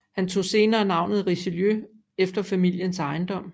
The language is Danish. Han tog senere navnet Richelieu efter familiens ejendom